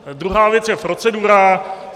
Druhá věc je procedura.